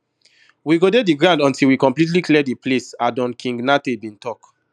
we go dey di ground until we completely clear di place adoone king nartey bin tok